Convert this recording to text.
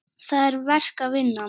Það er verk að vinna.